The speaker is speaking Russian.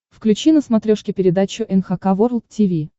включи на смотрешке передачу эн эйч кей волд ти ви